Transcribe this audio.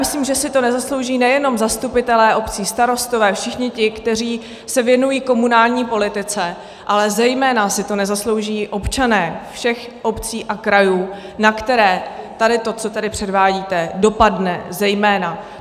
Myslím, že si to nezaslouží nejenom zastupitelé obcí, starostové, všichni ti, kteří se věnují komunální politice, ale zejména si to nezaslouží občané všech obcí a krajů, na které tady to, co tady předvádíte, dopadne zejména.